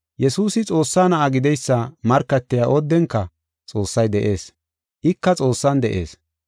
Yesuusi Xoossaa Na7aa gideysa markatiya oodenka Xoossay de7ees; ika Xoossan de7ees.